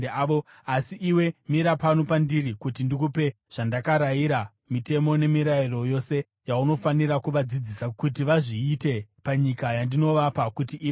Asi iwe mira pano pandiri kuti ndikupe zvandakarayira, mitemo nemirayiro yose yaunofanira kuvadzidzisa kuti vazviite panyika yandinovapa kuti ive yavo.”